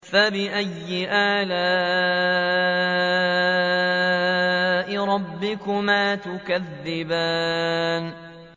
فَبِأَيِّ آلَاءِ رَبِّكُمَا تُكَذِّبَانِ